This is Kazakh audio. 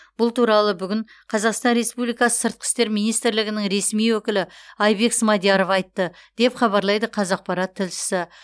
бұл туралы бүгін қазақстан республикасы сыртқы істер министрлігінің ресми өкілі айбек смадияров айтты деп хабарлайды қазақпарат тілшісі